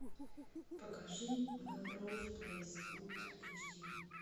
покажи мелроуз плейс ультра эйч ди